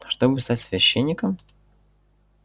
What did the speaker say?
чтобы стать священником